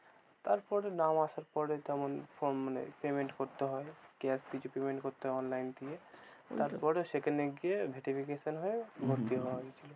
তারপরে নাম আসার পরে তেমন form মানে payment করতে হয়, cash কিছু payment করতে হয় online থেকে, তারপরে সেখানে গিয়ে verification হয়ে ভর্তি হওয়া গিয়েছিল। হম